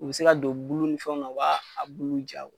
U bi se ka don bulu ni fɛnw na u b'a a bulu ja